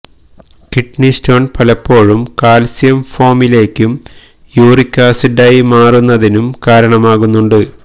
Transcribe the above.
kidney stone പലപ്പോഴും calcium ഫോമിലേക്കും uric ആസിഡായി മാറുന്നതിനും കാരണമാകുന്നുണ്ട്